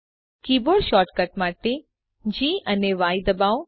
keyboard shortcut માટે G અને Y દબાવો